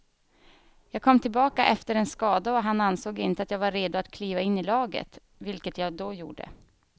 Jag kom tillbaka efter en skada och han ansåg inte att jag var redo att kliva in i laget, vilket jag då gjorde.